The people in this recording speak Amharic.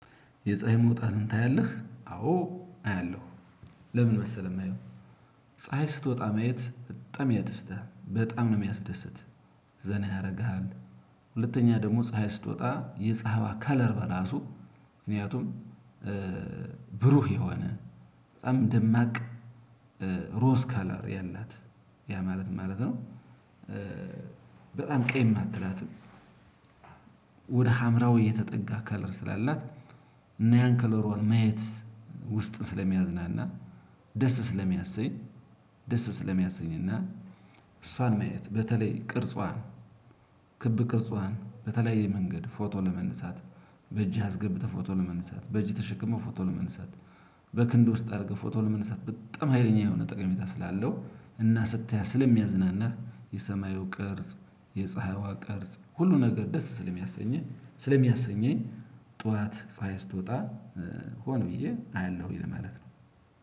የፀሀይ መውጣትን ታያለህ? አዎ አያለሁ። ለምን መሰለህ? የማየው ፀሀይ ስትወጣ ማየት በጣም ያደስታል በጣም ነው የሚያስደስት። ዘና ያደርግሃል። ሁለተኛ ደግሞ ፀሀይ ስትወጣ የፀሀይዋ ከለሯ ራሱ ምክንያቱም። ብሩህ የሆነ በጣም ደማቅ ሮዝ ከለር ያላት ያ ማለት ማለት ነው። በጣም ቀይም አትላትም። ወደ ሀምራዊ የተጠጋ ከለር ስላላት እና ያን ከሎሯን ማየት ውስጥን ስለሚያዝናና። ደስ ስለሚያሰኝ ደስ ስለሚያሰኝና። እሷን ማየት በተለይ ቅርጿን ክብ ቅርጿን በተለየ መንገድ ፎቶ ለመንሳት። በእጅህ አስገብተህ ፎቶ ለመንሳት በእጅህ ተሸክመው ፎቶ ለመንሳት። በክንድ ውስጥ አድርገህ ፎቶ ለመንሳት በጣም ሀይለኛ የሆነ ጠቀሜታ ስላለው እና ስታያት ስለሚያዝናናህ። የሰማዩ ቅርጽ የፀሀይዋ ቅርጽ ሁሉ ነገር ደስ ስለሚያሰኘኝ ስለሚያሰኘኝ ጠዋት ፀሀይ ስትወጣ ሆን ብዬ አያለሁኝ ለማለት ነው።